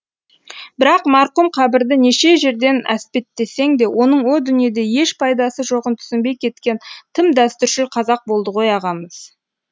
бірақ марқұм қабірді неше жерден әспеттесең де оның о дүниеде еш пайдасы жоғын түсінбей кеткен тым дәстүршіл қазақ болды ғой ағамыз